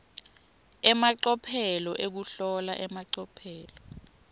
emacophelo ekuhlola emacophelo